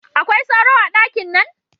Akwai sauro a dakin nan?